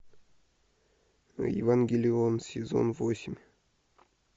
евангелион сезон восемь